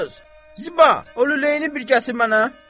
Ay qız, Ziba, o lüləyini bir gətir mənə.